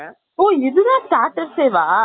ஓ, இது தான் starters எ வா